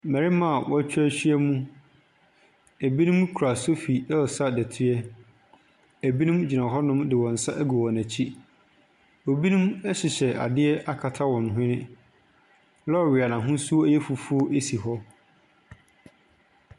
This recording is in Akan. Mmarima a w'atwa ahyiam. Ebi mo ɛsesa dɛteɛ. Ebi gyina hɔnom de wɔn nsa egu wɔn akyi. Ebinom ɛhyehyɛ adeɛ akata wɔn hwene. Lɔre a n'ahosuo yɛ fufuo esi hɔ.